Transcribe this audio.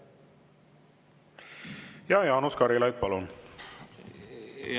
Jaanus Karilaid, palun!